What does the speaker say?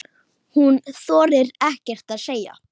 Hún þorir ekkert að segja.